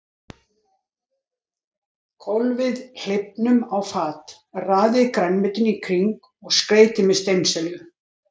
Hvolfið hleifnum á fat, raðið grænmetinu í kring og skreytið með steinselju.